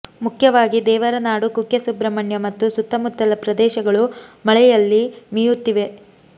ಮುಖ್ಯವಾಗಿ ದೇವರನಾಡು ಕುಕ್ಕೆ ಸುಬ್ರಮಣ್ಯ ಮತ್ತು ಸುತ್ತಮುತ್ತಲ ಪ್ರದೇಶಗಳು ಮಳೆಂುುಲ್ಲಿ ಮೀಂುುುತ್ತಿವೆ